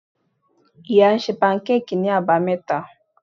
Iya ń sẹ pankéèkí ni abámeta